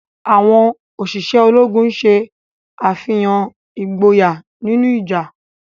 Awọn oṣiṣẹ Ológùn ṣe àfihàn ìgboyà nínú ìjà.